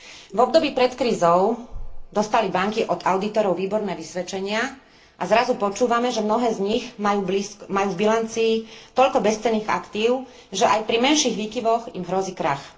V období pred krízou dostali banky od audítorov výborné vysvedčenia a zrazu počúvame, že mnohé z nich majú v bilancii toľko bezcenných aktív, že aj pri menších výkyvoch im hrozí krach.